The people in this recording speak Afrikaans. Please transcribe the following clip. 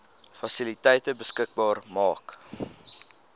fasiliteite beskikbaar maak